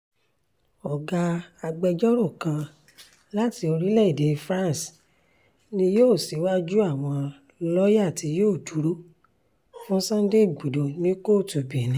ọ̀gá agbẹjọ́rò kan láti orílẹ̀‐èdè france ni yóò ṣíwájú àwọn lọ́ọ̀yà tí yóò dúró fún sunday igbodò ní kóòtù benin